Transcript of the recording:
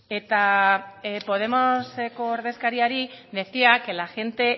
eta podemoseko ordezkariari decía que la gente